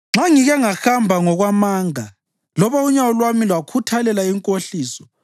Nxa ngike ngahamba ngokwamanga loba unyawo lwami lwakhuthalela inkohliso